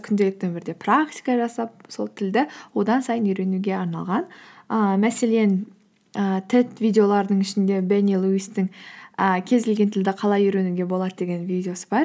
күнделікті өмірде практика жасап сол тілді одан сайын үйренуге арналған ііі мәселен ііі тет видеолардың ішінде дэниэл уисттің і кез келген тілді қалай үйренуге болады деген видеосы бар